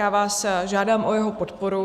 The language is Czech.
Já vás žádám o jeho podporu.